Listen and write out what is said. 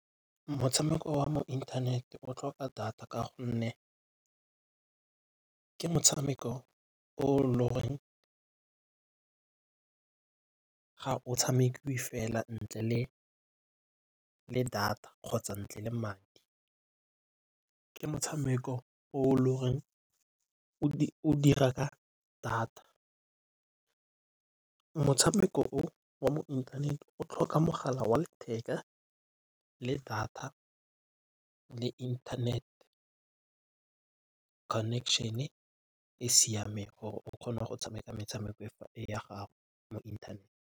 Motshameko wa mo internet o tlhoka data ka gonne ke motshameko o le goreng ga o tshamekiwe fela ntle le data kgotsa ntle le madi. Ke motshameko o le goreng o dira ka data. Motshameko o wa mo internet o tlhoka mogala wa letheka le data le internet connection-e e siameng gore o kgone go tshameka metshameko e ya gago mo internet.